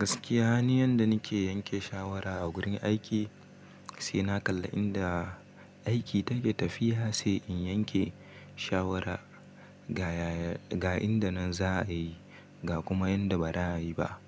Gaskiya ni yanda nake yanke shawara a gurin aiki, sai na kalla inda aiki take tafiya sai in yanke shawara ga inda nan za a yi, ga kuma yanda ba za a yi ba.